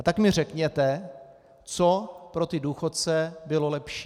A tak mi řekněte, co pro ty důchodce bylo lepší.